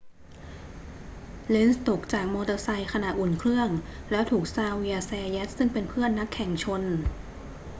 เลนซ์ตกจากมอเตอร์ไซค์ขณะอุ่นเครื่อง แล้วถูกซาเวียร์ ซาแยต ซึ่งเป็นเพื่อนนักแข่งชน